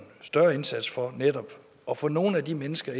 større indsats for netop at få nogle af de mennesker